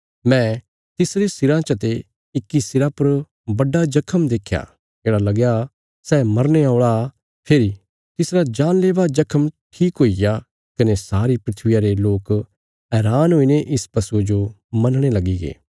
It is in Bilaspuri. मैं तिसरे सिराँ चते इक्की सिरा पर बड्डा जख्म देख्या येढ़ा लगया सै मरने औल़ा फेरी तिसरा जानलेवा जख्म ठीक हुईग्या कने सारी धरतिया रे लोक हैरान हुईने इस पशुये जो मनणे लगीगे